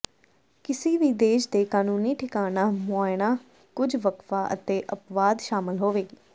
ਕਿਸੇ ਵੀ ਦੇਸ਼ ਦੇ ਕਾਨੂੰਨੀ ਠਿਕਾਣਾ ਮੁਆਇਣਾ ਕੁਝ ਵਕਫ਼ਾ ਅਤੇ ਅਪਵਾਦ ਸ਼ਾਮਲ ਹੋਵੇਗੀ